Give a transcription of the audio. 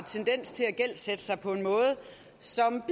tendens til at gældsætte sig på en måde som